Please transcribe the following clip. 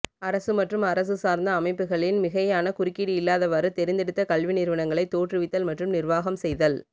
அரசு மற்றும் அரசு சார்ந்த அமைப்புகளின் மிகையான குறுக்கீடு இல்லாதவாறு தெரிந்தெடுத்த கல்வி நிறுவனங்களை தோற்றுவித்தல் மற்றும் நிர்வாகம் செய்தல்